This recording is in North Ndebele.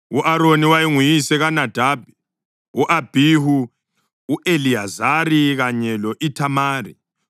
U-Aroni wayenguyise kaNadabi, u-Abhihu, u-Eliyazari kanye lo-Ithamari.